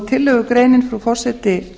tillögugreinin frú forseti